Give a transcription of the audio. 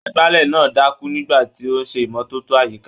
Agbálẹ̀ náà dákú nígbà tí ó ń ṣe ìmọ́tótó àyíká.